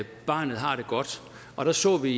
at barnet har det godt og der så vi